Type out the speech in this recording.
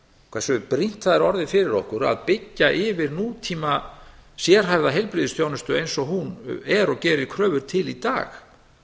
hversu brýnt það er orðið fyrir okkur að byggja yfir tíma sérhæfða heilbrigðisþjónustu eins og hún er og gerir kröfur til í dag